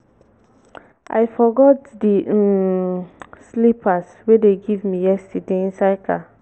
i forgot the um slippers wey dey give me yesterday inside my car